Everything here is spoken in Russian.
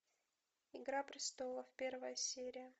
игра престолов первая серия